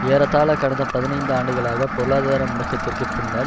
ஏறத்தாழ கடந்த பதினைந்து ஆண்டுகளாக பொருளாதார முடக்கத்திற்கு பின்னர்